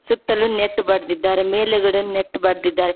ಸುತ್ತಲು ನೆಟ್ ಬಡದಿದ್ದಾರೆ ಮೇಲೆಗಡೆ ನೆಟ್ ಬಡದಿದ್ದಾರೆ.